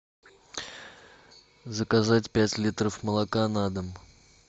заказать пять литров молока на дом